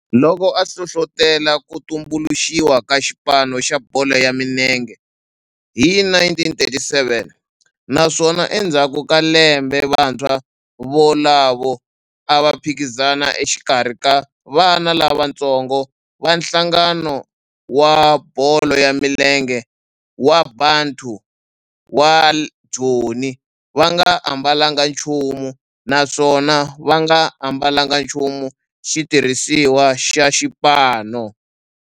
loko a hlohlotela ku tumbuluxiwa ka xipano xa bolo ya milenge hi 1937 naswona endzhaku ka lembe vantshwa volavo a va phikizana exikarhi ka vana lavatsongo va nhlangano wa bolo ya milenge wa Bantu wa Joni va nga ambalanga nchumu naswona va nga ambalanga nchumu xitirhisiwa xa xipano.